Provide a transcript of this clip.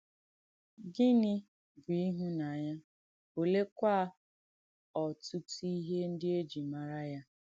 Gịnì bù ìhúnànyà, olèekwà ọ̀tùtù ìhé ndí è jì màrà ya?